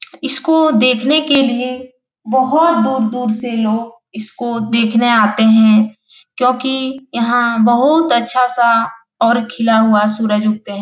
इसको देखने के लिये बहुत दूर-दूर से लोग इसको देखने आते हैं क्योंकि यहाँ बहुत अच्छा सा और खिला हुआ सुरज उगते हैं ।